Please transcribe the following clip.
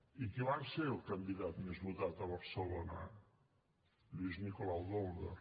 i qui va ser el candidat més votat a barcelona lluís nicolau i d’olwer